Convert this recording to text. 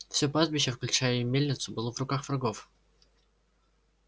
всё пастбище включая и мельницу было в руках врагов